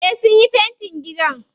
Eh sunyi fentin gida.